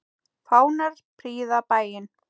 Fánar prýða bæinn.